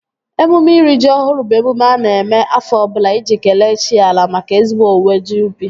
Emume iri ji ọhụrụ bụ emume a na-eme afọ ọbụla iji kelee chi ala maka ezigbo owuwe ji ubi